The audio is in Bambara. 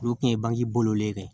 Olu kun ye bange bolo ye dɛ